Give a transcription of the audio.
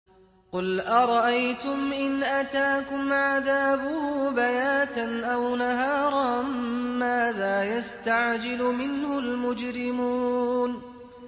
قُلْ أَرَأَيْتُمْ إِنْ أَتَاكُمْ عَذَابُهُ بَيَاتًا أَوْ نَهَارًا مَّاذَا يَسْتَعْجِلُ مِنْهُ الْمُجْرِمُونَ